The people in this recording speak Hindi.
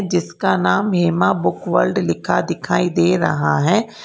जिसका नाम हेमा बुक वर्ल्ड लिखा दिखाई दे रहा है।